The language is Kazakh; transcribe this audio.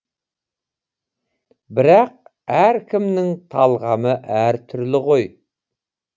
бірақ әркімнің талғамы әртүрлі ғой